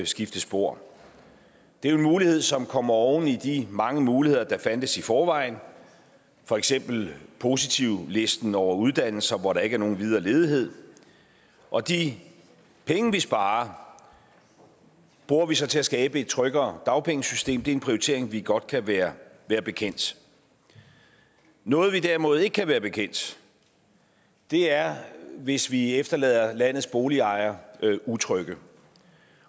skifte spor det er en mulighed som kommer oven i de mange muligheder der fandtes i forvejen for eksempel positivlisten over uddannelser hvor der ikke er nogen videre ledighed og de penge vi sparer bruger vi så til at skabe et tryggere dagpengesystem det er en prioritering vi godt kan være bekendt noget vi derimod ikke kan være bekendt er hvis vi efterlader landets boligejere utrygge